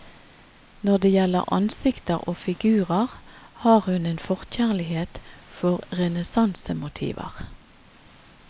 Når det gjelder ansikter og figurer, har hun en forkjærlighet for renessansemotiver.